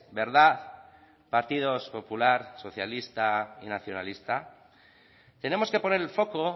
verdad partidos popular socialista y nacionalista tenemos que poner el foco